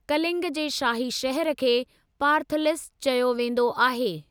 कलिंग जे शाही शहर खे पार्थलिस चयो वेंदो आहे।